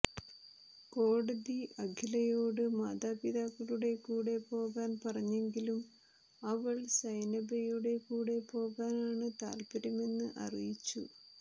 കോടതി അഖിലയോട് മാതാപിതാക്കളുടെ കൂടെ പോകാൻ പറഞ്ഞെങ്കിലും അവൾ സൈനബയുടെ കൂടെ പോകാൻ ആണ് താൽപര്യമെന്ന് അറിയിച്ചു